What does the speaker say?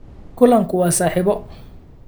Kulanku waa saaxiibo